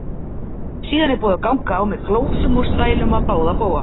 Síðan er búið að ganga á með glósum og stælum á báða bóga.